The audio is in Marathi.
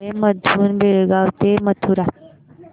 रेल्वे मधून बेळगाव ते मथुरा